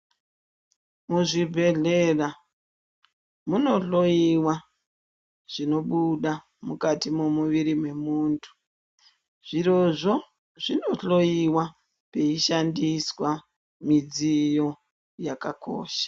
Muzvibhehlera munohloyiwa zvinobuda mukati mwemuviri wemuntu. Zvirozvo zvinohloyiwa peishandiswa midziyo yakakosha.